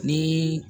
Ni